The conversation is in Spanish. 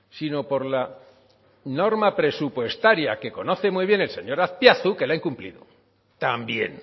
sino por la norma presupuestaria que conoce muy bien el señor azpiazu que la ha incumplido también